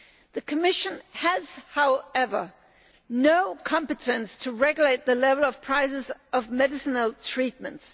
The Commission has, however, no competence to regulate the level of prices of medicinal treatments.